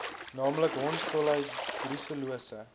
naamlik hondsdolheid brusellose